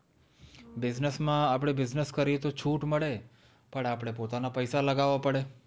business માં આપણે business કરીયે તો છૂટઃ મળે પણ આપણે પોતાના પૈસા લગાડવા પડે